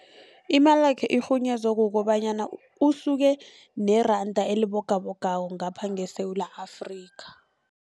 Imalakhe irhunyezwe kukobanyana usuke neranda elibogabogako ngapha ngeSewula Afrika.